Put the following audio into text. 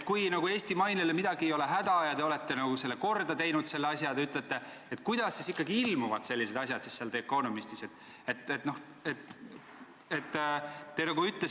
Kui Eesti mainel ei ole midagi häda ja te olete korda teinud selle asja, nagu te ütlesite, kuidas siis ikkagi ilmuvad sellised asjad The Economistis?